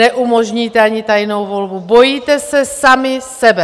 Neumožníte ani tajnou volbu, bojíte se sami sebe!